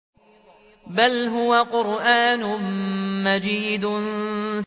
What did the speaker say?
بَلْ هُوَ قُرْآنٌ مَّجِيدٌ